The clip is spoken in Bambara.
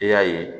I y'a ye